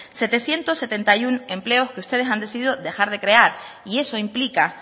setecientos setenta y uno empleos que ustedes han decidido dejar de crear y eso implica